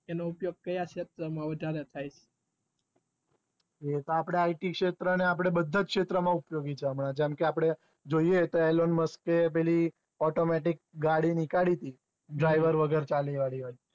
એનો ઉપયોગ કયા છેત્ર વધારે થાય એતો આપડે it છેત્ર ને બધા છેત્ર મા ઉપયોગી છે જેમ કે આપડે જોઈએ તો એલન મસ્કે પેલી automatic ગાડી નીકાળી તી driver વગર ચાલે તે